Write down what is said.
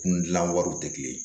Kun gilan wariw tɛ kelen ye